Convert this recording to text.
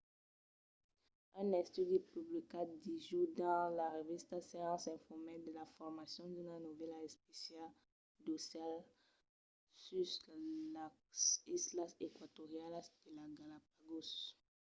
un estudi publicat dijòus dins la revista science informèt de la formacion d’una novèla espécia d’aucèls sus las islas eqüatorianas de las galápagos